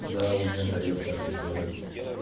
да у меня заёб такой тоже есть